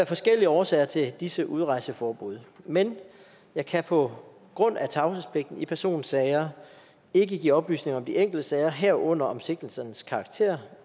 forskellige årsager til disse udrejseforbud men jeg kan på grund af tavshedspligten i personsager ikke give oplysninger om de enkelte sager herunder om sigtelsernes karakter